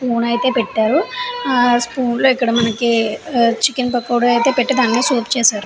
Spoon అయితే పెట్టారు. ఆ స్పూన్ లో ఇక్కడ మనకి చికెన్ పకోడా అయితే పెట్టి దాన్నే సూప్ చేశారు.